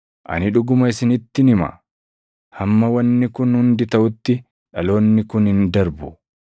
Ani dhuguma isinittin hima; hamma wanni kun hundi taʼutti dhaloonni kun hin darbu.